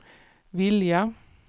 vilja